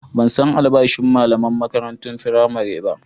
Ban san albashin malaman makarantun firamare ba.